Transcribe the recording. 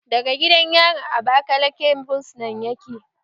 Daga gidan yarin abakaleke fursunan yake